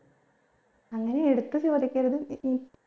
അങ്ങനെ എടുത്ത് ചോദിക്കരുത് ഉം